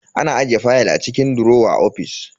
Ana ajiye fayal a cikin durowa a ofis.